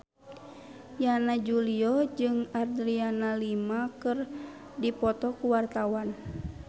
Yana Julio jeung Adriana Lima keur dipoto ku wartawan